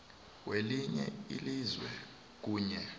welinye ilizwe kunye